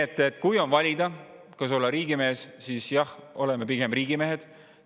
Nii et kui on valida, kas olla riigimees, siis jah, oleme pigem riigimehed.